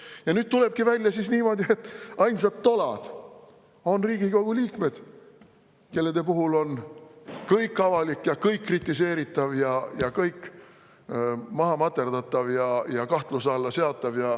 Ja nüüd tulebki välja niimoodi, et ainsad tolad on Riigikogu liikmed, kelle puhul on kõik avalik ja kõik kritiseeritav ja kõik maha materdatav ja kahtluse alla seatav.